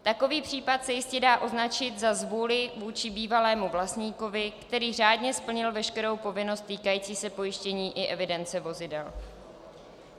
Takový případ se jistě dá označit za zvůli vůči bývalému vlastníkovi, který řádně splnil veškerou povinnost týkající se pojištění i evidence vozidel.